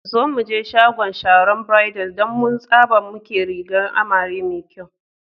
Zo muje shagon Sharon Bridals dan mu tsaba muke rigar amare mai kyau.